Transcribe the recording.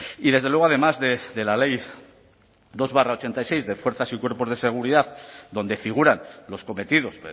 y desde luego además de la ley dos barra ochenta y seis de fuerzas y cuerpos de seguridad donde figuran los cometidos